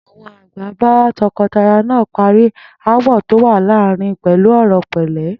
Àwo̩n àgbà bá to̩ko̩taya náà parí aáwò̩ tó wà láàárín pè̩lú ò̩rò̩ pè̩lé̩